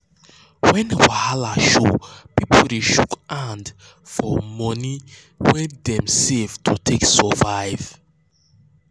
when wahala show people dey shook people dey shook hand for moni um wey dem save to take survive.